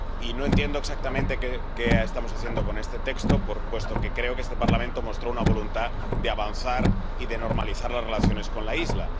No entiendo exactamente qué estamos haciendo con este texto, puesto que creo que este Parlamento mostró una voluntad de avanzar y de normalizar las relaciones con la isla.